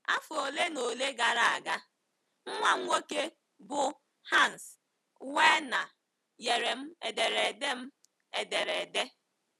Afọ ole na ole gara aga, nwa m nwoke, bụ́ Hans Werner, nyere m ederede m ederede.